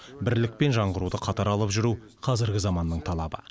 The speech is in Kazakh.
бірлік пен жаңғыруды қатар алып жүру қазіргі заманның талабы